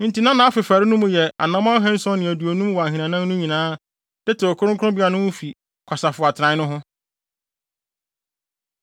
Enti na nʼafefare mu no yɛ anammɔn ahanson ne aduonum wɔ ahinanan no nyinaa, de tew kronkronbea no ho fi kwasafo atenae no ho.